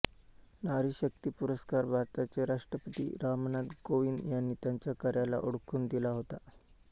नारी शक्ती पुरस्कार भारताचे राष्ट्रपती रामनाथ कोविंद यांनी त्यांच्या कार्याला ओळखून दिला होता